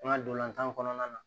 An ka dolantan kɔnɔna na